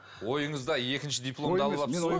ойыңызда екінші дипломды алып алыпсыз ғой